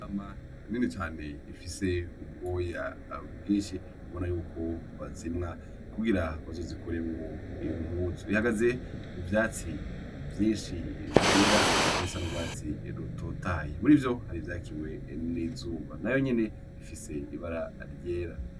Intama nini cane ifise ubwoya bwinshi ubona yuko bazimwa kugira bazozikoremwo impuzu, ihagaze mu vyatsi vyinshi vyera nibisa n'urwatsi rutotahaye, murivyo hari ivyakiwe n'izuba, nayo nyene ifise ibara ryera.